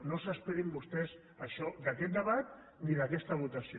no s’esperin vostès això d’aquest debat ni d’aquesta votació